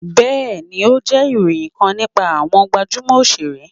bẹẹni, o jẹ iroyin kan nipa awọn gbajumo osere.